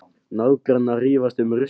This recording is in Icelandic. Nágrannar rífast um ruslið